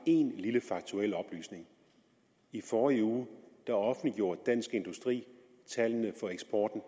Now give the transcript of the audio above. én lille faktuel oplysning i forrige uge offentliggjorde dansk industri tallene for eksporten